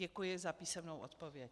Děkuji za písemnou odpověď.